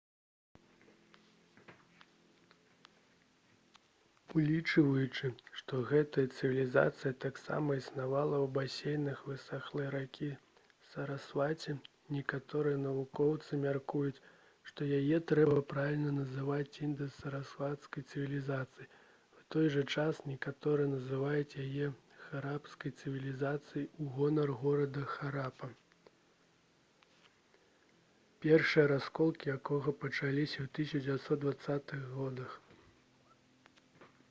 улічваючы што гэтая цывілізацыя таксама існавала ў басейнах высахлай ракі сарасваці некаторыя навукоўцы мяркуюць што яе трэба правільна называць інда-сарасвацкай цывілізацыяй у той жа час некаторыя называюць яе харапскай цывілізацыяй у гонар горада харапа першыя раскопкі якога пачаліся ў 1920-х гадах